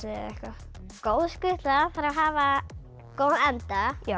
góð skutla þarf að hafa góðan anda á